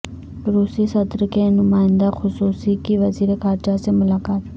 روسی صدر کے نمائندہ خصوصی کی وزیر خارجہ سے ملاقات